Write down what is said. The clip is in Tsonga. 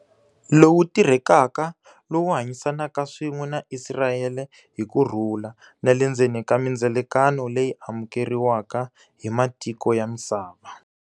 Lowu tirhekaka lowu hanyisanaka swin'we na Isirayele hi kurhula, na le ndzeni ka mindzilekano leyi amukeriwaka hi matiko ya misava.